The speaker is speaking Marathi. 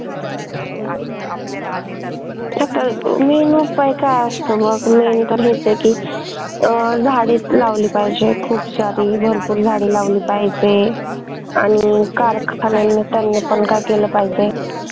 main उपाय काय असतो ना कि अं झाडच लावली पाहिजे खूप सारी भरपूर झाडं लावली पाहिजे आणि कारखाने त्यांना पण काय केलं पाहिजे